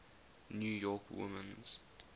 new york women's